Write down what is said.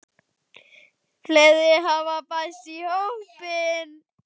Fleiri hafa bæst í hópinn.